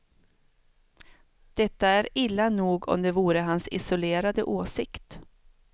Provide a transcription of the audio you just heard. Detta är illa nog om det vore hans isolerade åsikt.